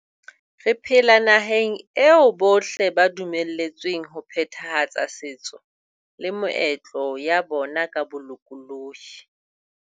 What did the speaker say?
Re phela nahaneg eo bohle ba dumeletsweng ho phethahatsa setso le meetlo ya bona ka bolokolohi.